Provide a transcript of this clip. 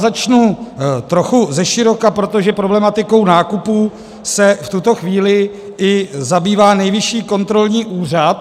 Začnu trochu zeširoka, protože problematikou nákupů se v tuto chvíli i zabývá Nejvyšší kontrolní úřad.